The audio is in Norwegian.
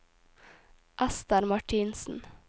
Esther Martinsen